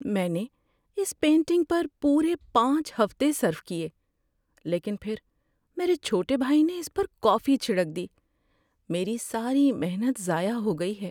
میں نے اس پینٹنگ پر پورے پانچ ہفتے صرف کئے لیکن پھر میرے چھوٹے بھائی نے اس پر کافی چھڑک دی۔ میری ساری محنت ضائع ہو گئی ہے۔